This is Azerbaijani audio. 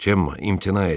Cemma, imtina edin.